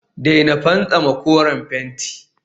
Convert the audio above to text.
daina fantsama koren fenti